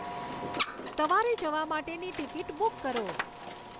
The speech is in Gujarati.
સવારે જવા માટેની ટિકીટ બુક કરો